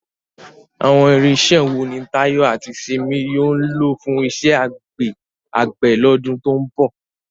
Àwọn irinṣẹ́ wo ni Tayo àti Simi yóò lò fún iṣẹ́ àgbẹ̀ lọ́dún tó ń bọ̀?